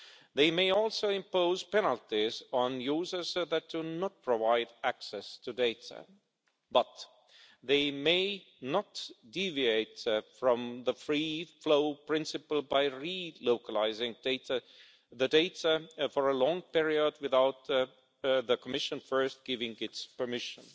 They may also impose penalties on users that do not provide access to data, but they may not deviate from the free flow principle by relocalising the data for a long period without the Commission first giving its permission.